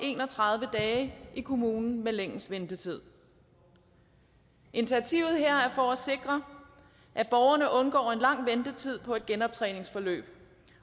en og tredive dage i kommunen med længst ventetid initiativet her er for at sikre at borgerne undgår en lang ventetid på et genoptræningsforløb